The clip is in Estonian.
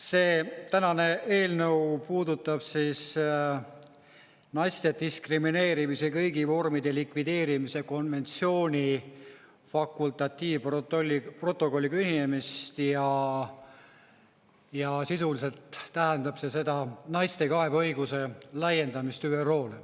See tänane eelnõu puudutab siis naiste diskrimineerimise kõigi vormide likvideerimise konventsiooni fakultatiivprotokolliga ühinemist ja sisuliselt tähendab see naiste kaebeõiguse laiendamist ÜRO-le.